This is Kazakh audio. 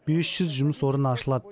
бес жүз жұмыс орны ашылады